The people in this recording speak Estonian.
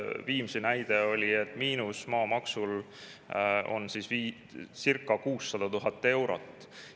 Viimsi näide oli, et maamaksu miinus on circa 600 000 eurot.